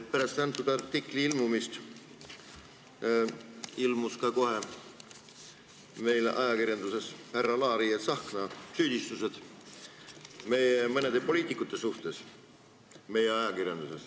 Pärast selle artikli ilmumist ilmusid meil ajakirjanduses kohe ka härra Laari ja Tsahkna süüdistused meie mõnede poliitikute vastu.